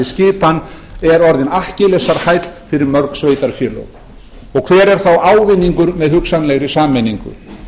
skipan er orðin akkillesarhæll fyrir mörg sveitarfélög og hver er þá ávinningur með hugsanlegri sameiningu